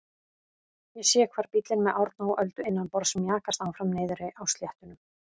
Ég sé hvar bíllinn með Árna og Öldu innanborðs mjakast áfram niðri á sléttunum.